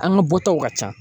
An ka bɔtaw ka ca.